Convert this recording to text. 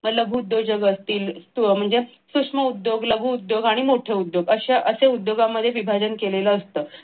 मग लघु उद्योजक असतील सूक्ष्म उद्योग लघु उद्योग आणि मोठे उद्योग अश्या असे उद्योजकांमध्ये विभाजन केलेलं असत.